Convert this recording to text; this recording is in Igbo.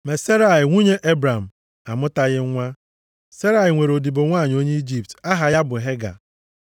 Ma Serai nwunye Ebram, amụtaghị nwa. Serai nwere odibo nwanyị onye Ijipt, aha ya bụ Hega.